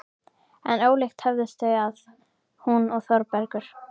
En ólíkt höfðust þau að, hún og Þórbergur.